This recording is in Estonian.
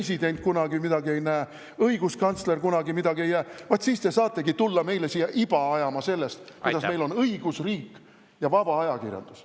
… president kunagi midagi ei näe, õiguskantsler kunagi midagi ei näe, vaat siis te saategi tulla meile siia iba ajama sellest, kuidas meil on õigusriik ja vaba ajakirjandus.